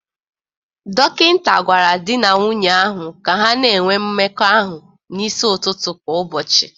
Dọkịta gwara di na nwunye ahụ ka ha na-enwe mmekọ ahụ n'isi ụtụtụ kwa ụbọchị